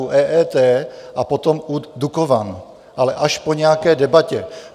U EET a potom u Dukovan, ale až po nějaké debatě.